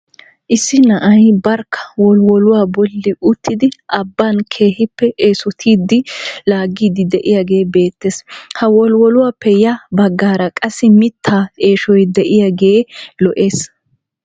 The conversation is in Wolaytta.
Issi na'ay barkka wolwoluwaa bolli uttidi abbaan keehippe esottiidi laagidi de'iyaagee beettees. ha wolwoluwaappe ya baggaara qassi mittaa eeshshoy de'iyaagee lo"ees.